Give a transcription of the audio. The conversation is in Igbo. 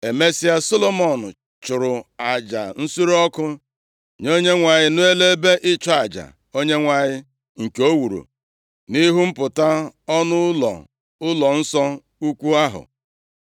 Emesịa, Solomọn chụrụ aja nsure ọkụ nye Onyenwe anyị, nʼelu ebe ịchụ aja Onyenwe anyị, nke o wuru nʼihu mpụta ọnụ ụlọ ụlọnsọ ukwu ahụ,